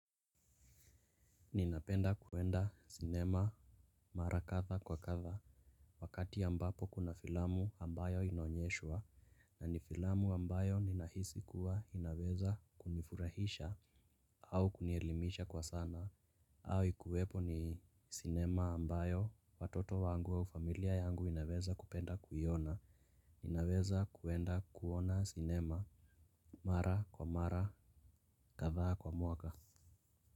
Ninapenda kuenda sinema mara kadha kwa kadha. Wakati ambapo kuna filamu ambayo inaonyeshwa na ni filamu ambayo ninahisi kuwa inaweza kunifurahisha au kunielimisha kwa sana. Au ikuwepo ni sinema ambayo watoto wangu au familia yangu inaweza kupenda kuiona. Ninaweza kuenda kuona sinema mara kwa mara kadhaa kwa mwaka.